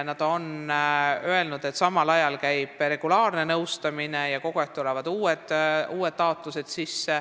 Nad on öelnud, et samal ajal käib regulaarne nõustamine ja kogu aeg tulevad uued taotlused.